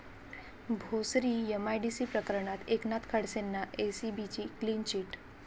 Bhosari MIDC प्रकरणात एकनाथ खडसेंना एसीबीची क्लीन चिट